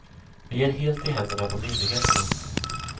Vi är helt i händerna på myndigheterna.